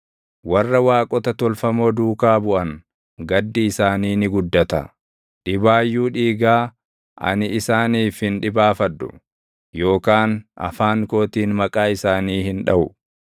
Warra waaqota tolfamoo duukaa buʼan, gaddi isaanii ni guddata. Dhibaayyuu dhiigaa ani isaaniif hin dhibaafadhu; yookaan afaan kootiin maqaa isaanii hin dhaʼu.